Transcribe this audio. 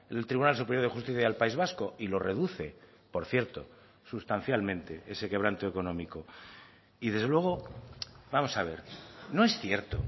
el tribunal superior de justicia del país vasco y lo reduce por cierto sustancialmente ese quebranto económico y desde luego vamos a ver no es cierto